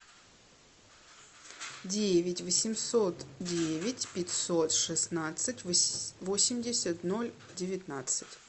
девять восемьсот девять пятьсот шестнадцать восемьдесят ноль девятнадцать